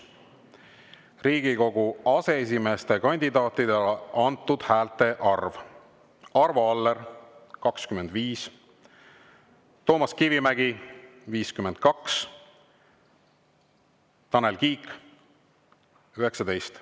Riigikogu aseesimeeste kandidaatidele antud häälte arv: Arvo Aller – 25, Toomas Kivimägi – 52, Tanel Kiik – 19.